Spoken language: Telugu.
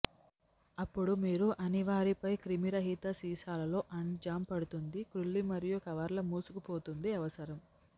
అప్పుడు మీరు అన్ని వారిపై క్రిమిరహితం సీసాలలో అండ్ జామ్ పడుతుంది క్రుళ్ళి మరియు కవర్లు మూసుకుపోతుంది అవసరం